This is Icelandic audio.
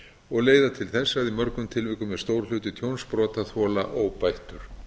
og leiða til þess að í mörgum tilvikum er stór hluti tjóns brotaþola óbættur